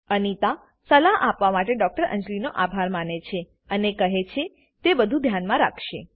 અનિતા સલાહ આપવા માટે ડોક્ટર અંજલીનો આભાર માને છે અને કહે છે તે બધું ધ્યાન માં રાખશે